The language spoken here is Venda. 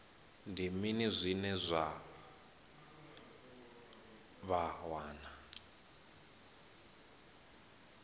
ndi mini zwine vha wana